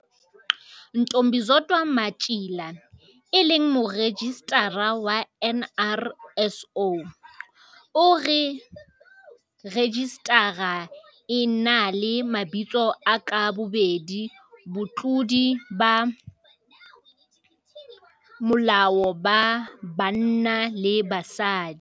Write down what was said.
Ntombizodwa Matjila, e leng Morejistara wa NRSO, o re rejistara e na le mabitso a ka bobedi batlodi ba molao ba banna le ba basadi.